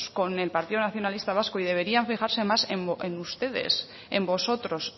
con el partido nacionalista vasco y deberían fijarse más en ustedes en vosotros